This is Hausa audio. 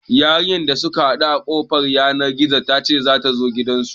Yarinyar da suka haɗu a kafar yanar gizo ta ce za ta zo gidansu.